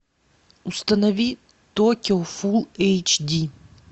установи токио фулл эйч ди